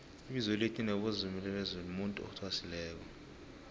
ibizo elithi nobezimulibizo lomuntu athwasileko